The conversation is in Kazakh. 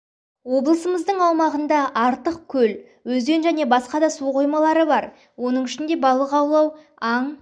облысымыздың аумағында артық көл өзен және басқа да су қоймалары бар оның ішінде балық аулау аң